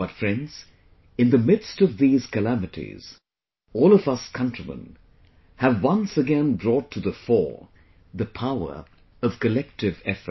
But friends, in the midst of these calamities, all of us countrymen have once again brought to the fore the power of collective effort